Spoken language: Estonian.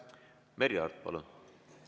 Merry Aart, palun!